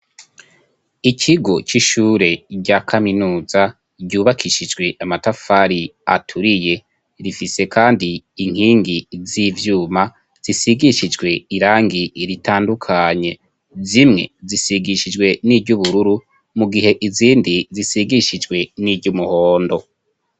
Ikigo c'ishure rya kaminuza, ryubakishijwe amatafari aturiye, rifise kandi inkingi z'ivyuma zisigishijwe irangi ritandukanye, zimwe zisigishijwe n'iry'ubururu, mu gihe izindi zisigishijwe n'iry'umuhondo.